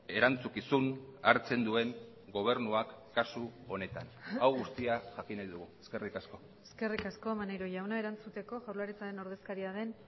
erantzukizun hartzen duen gobernuak kasu honetan hau guztia jakin nahi dugu eskerrik asko eskerrik asko maneiro jauna erantzuteko jaurlaritzaren ordezkaria den